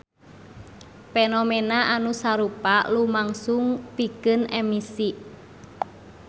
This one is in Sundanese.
Fenomena anu sarupa lumangsung pikeun emisi.